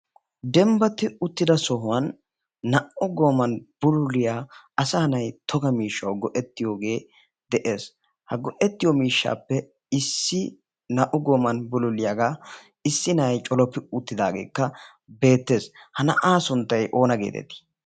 Dembbati uttida sohuwan naa''u goomman bululliya asay nay togga miishshaw go'etiyo mishshay de'ees. ha go'ettiy mishshappe issi naa''u gooman bululliyaaga issi na'ay colloppi uttidaage beettees. ha na'a sunttay oona getetti?